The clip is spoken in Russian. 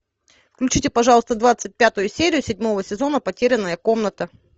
включите пожалуйста двадцать пятую серию седьмого сезона потерянная комната